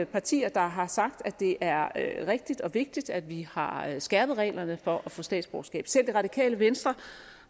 partier der har sagt at det er rigtigt og vigtigt at vi har skærpet reglerne for at få statsborgerskab selv det radikale venstre